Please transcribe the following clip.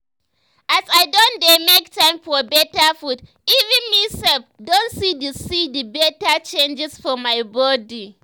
as i don dey make time for better food even me self don see the see the better changes for my body